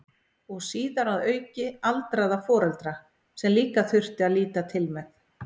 Og síðar að auki aldraða foreldra sem líka þurfti að líta til með.